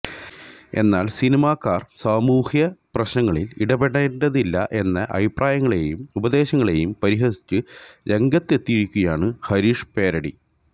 എന്നാല് സിനിമാക്കാര് സമൂഹ്യ പ്രശ്നങ്ങളില് ഇടപേണ്ടതില്ല എന്ന അഭിപ്രായങ്ങളെയും ഉപദേശങ്ങളെയും പരിഹസിച്ച് രംഗത്തെത്തിയിരിക്കുകയാണ് ഹരീഷ് പേരടി